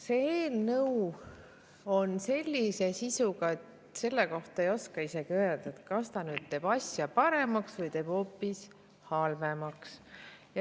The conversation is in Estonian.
See eelnõu on sellise sisuga, et selle kohta ei oska isegi öelda, kas ta teeb asja paremaks või hoopis halvemaks.